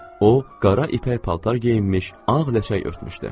O qara ipək paltar geyinmiş, ağ ləçək örtmüşdü.